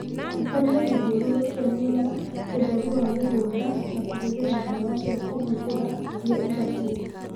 Tabania gũthiũrũrũkia mĩmela, ũtheru wa mũgũnda na kũhũthĩla dawa cia kũhuhĩra ilia ibatie